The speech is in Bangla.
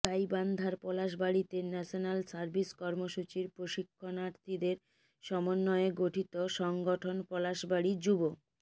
গাইবান্ধার পলাশবাড়ীতে ন্যাশনাল সার্ভিস কর্মসূচীর প্রশিক্ষণার্থীদের সমন্বয়ে গঠিত সংগঠন পলাশবাড়ী যুব